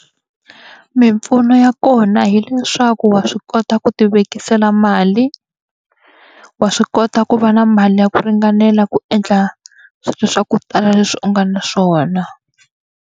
Mimpfuno ya kona hileswaku wa swi kota ku ti vekela mali, wa swi kota ku va na mali ya ku ringanela ku endla swilo swa ku tala leswi u nga na swona.